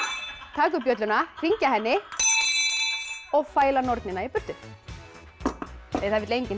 taka upp bjölluna hringja henni og fæla nornina í burtu það vill enginn